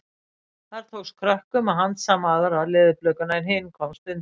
Þar tókst krökkum að handsama aðra leðurblökuna en hin komst undan.